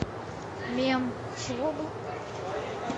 мем чего бы